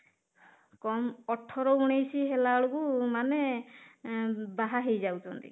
କମ ଅଠର ଉଣେଇଶି ହେଲା ବେଳକୁ ମାନେ ଉମ ବାହା ହେଇଯାଉଛନ୍ତି